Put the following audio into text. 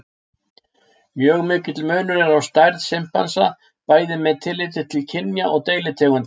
Mjög mikill munur er á stærð simpansa bæði með tilliti til kynja og deilitegunda.